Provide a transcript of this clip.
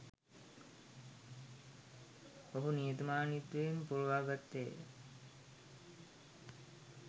ඔහු නිහතමානීත්වයෙන් පුරවා ගත්තේ ය